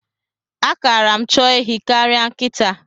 A kara m chọọ ehi karịa nkịta.